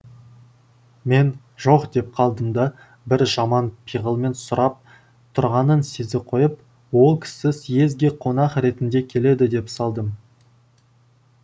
мен жоқ деп қалдым да бір жаман пиғылмен сұрап тұрғанын сезе қойып ол кісі съезге қонақ ретінде келеді деп салдым